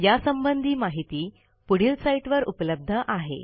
यासंबंधी माहिती पुढील साईटवर उपलब्ध आहे